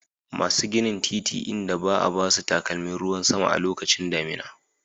Masu ginin titi inda ba a ba su takalmin ruwan sama a lokacin damina